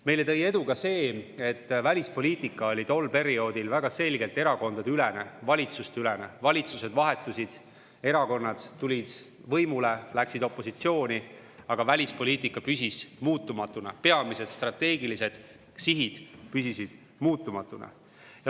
Meile tõi edu ka see, et välispoliitika oli tol perioodil väga selgelt erakondadeülene, valitsusteülene, valitsused vahetusid, erakonnad tulid võimule või läksid opositsiooni, aga välispoliitika püsis muutumatuna, peamised strateegilised sihid püsisid muutumatuna.